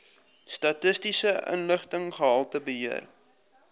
statistiese inligting gehaltebeheer